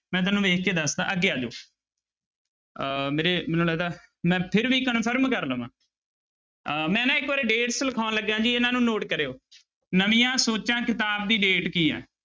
ਮੈਂ ਤੁਹਾਨੂੰ ਵੇਖ ਕੇ ਦੱਸਦਾਂ ਅੱਗੇ ਆ ਜਾਓ ਅਹ ਮੇਰੇ ਮੈਨੂੰ ਲੱਗਦਾ ਮੈਂ ਫਿਰ ਵੀ confirm ਕਰ ਲਵਾਂ ਅਹ ਮੈਂ ਨਾ ਇੱਕ ਵਾਰੀ dates ਲਿਖਾਉਣ ਲੱਗਿਆ ਜੀ ਇਹਨਾਂ ਨੂੰ note ਕਰਿਓ ਨਵੀਂਆਂ ਸੋਚਾਂ ਕਿਤਾਬ ਦੀ date ਕੀ ਹੈ?